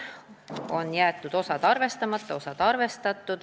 Osa on jäetud arvestamata, osa on arvestatud.